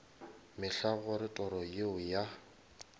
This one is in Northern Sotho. mehla gore toro yeo ya